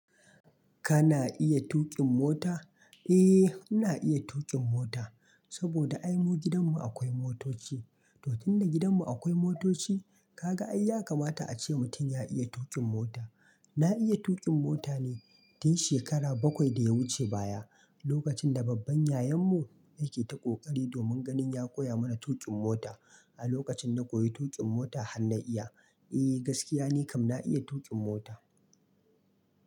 Kana iya tuƙin mota? Eh, na iya tuƙin mota saboda ai mu gidanmu akwai motoci. Totun da gidanmu akwai motoci, kaga ai ya kama ta a ce mutum ya iya tuƙin mota. Na iya tuƙin mota ne tun shekaru bakwai da ya wuce baya, lokacin da babban yayanmu yake ta ƙoƙari domin ganin ya koya mana tuƙin mota. A lokacin na koyi tuƙin mota har na iya. Eh, gaskiya ne kam na iya tuƙin mota.